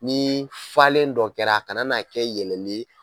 Ni falen dɔ kɛra a kana n'a kɛ yɛlɛli ye.